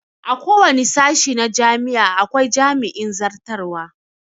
A kowane sashe na jami'a akwai jami'in zartarwa